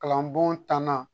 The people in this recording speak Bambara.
Kalan bon tanna